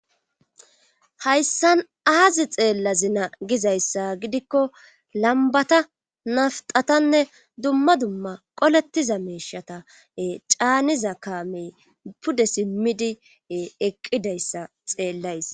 hayssan aazi xeella zina gizayssa gidikko lambata naftatanne dumma dumma qolettiza meeshata caaniza kaamey pude simmidi eqqidayssa xeellays